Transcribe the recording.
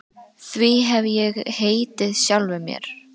Því hef ég heitið sjálfum mér.